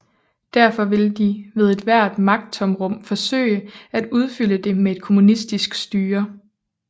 Derfor ville de ved et hvert magttomrum forsøge at udfylde det med et kommunistisk styre